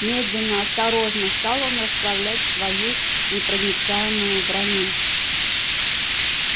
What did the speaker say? медленно осторожно стал он расправлять свою непроницаемую броню